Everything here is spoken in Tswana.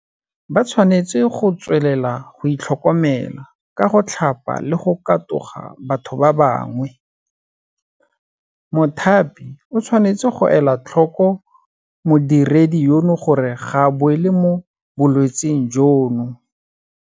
Ba tshwanetse go tswelela go itlhokomela ka go tlhapa le go katoga batho ba bangwe. Mothapi o tshwanetse go ela tlhoko modiredi yono gore ga a boele mo bolwetseng jono.